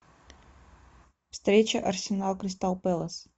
встреча арсенал кристал пэлас